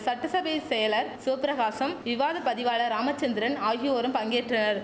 சட்டசபை செயலர் சிவப்பிரகாசம் விவாத பதிவாளர் ராமச்சந்திரன் ஆகியோரும் பங்கேற்றனர்